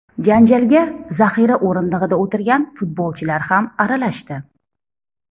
Janjalga zaxira o‘rindig‘ida o‘tirgan futbolchilar ham aralashdi.